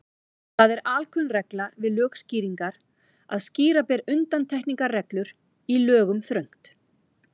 Það er alkunn regla við lögskýringar að skýra ber undantekningarreglur í lögum þröngt.